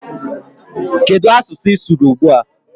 Kedụ asụsụ ị sụrụ ugbua?